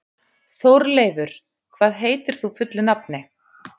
Þórleifur, hvað heitir þú fullu nafni?